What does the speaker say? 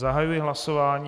Zahajuji hlasování.